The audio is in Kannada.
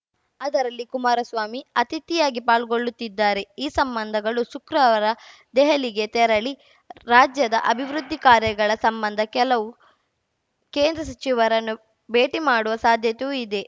ಅದರಲ್ಲಿ ಕುಮಾರಸ್ವಾಮಿ ಅತಿಥಿಯಾಗಿ ಪಾಲ್ಗೊಳ್ಳುತ್ತಿದ್ದಾರೆ ಈ ಸಂಬಂಧಗಳು ಶುಕ್ರವಾರ ದೆಹಲಿಗೆ ತೆರಳಿ ರಾಜ್ಯದ ಅಭಿವೃದ್ಧಿ ಕಾರ್ಯಗಳ ಸಂಬಂಧ ಕೆಲವು ಕೇಂದ್ರ ಸಚಿವರನ್ನು ಭೇಟಿ ಮಾಡುವ ಸಾಧ್ಯತೆಯೂ ಇದೆ